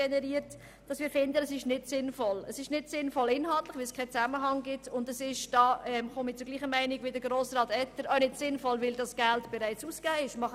Sie ist inhaltlich nicht sinnvoll, weil kein Zusammenhang besteht, und weil dieses Geld, wie Grossrat Etter gesagt hat, bereits ausgegeben wurde.